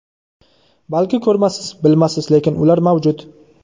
Balki ko‘rmassiz, bilmassiz, lekin ular mavjud.